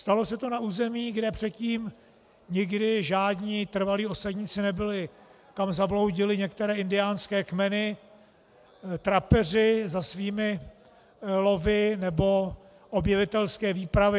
Stalo se to na území, kde předtím nikdy žádní trvalí osadníci nebyli, kam zabloudily některé indiánské kmeny, trapeři za svými lovy nebo objevitelské výpravy.